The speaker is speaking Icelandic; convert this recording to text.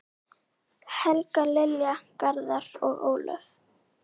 Helga, Lilja, Garðar og Ólöf.